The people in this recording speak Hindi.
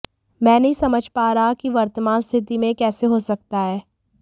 मैं नहीं समझ पा रहा कि वर्तमान स्थिति में यह कैसे हो सकता है